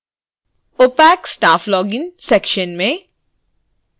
opac/staff login section में